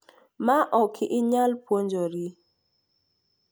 Ma ok inyal puonjori .